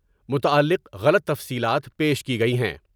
متعلق غلط تفصیلات پیش کی گئی ہیں ۔